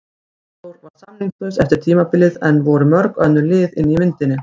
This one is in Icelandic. Arnþór var samningslaus eftir tímabilið en voru mörg önnur lið inni í myndinni?